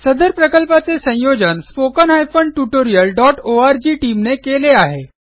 सदर प्रकल्पाचे संयोजन spoken tutorialओआरजी टीम ने केले आहे